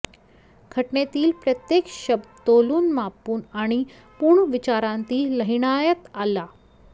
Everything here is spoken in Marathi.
घटनेतील प्रत्येक शब्द तोलून मापून आणि पूर्ण विचारांती लिहिण्यात आला